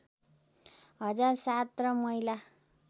हजार ७ र महिला